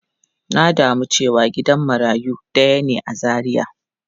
Na damu cewa gidan marayu daya ne a Zaria.